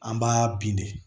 An b'a bin de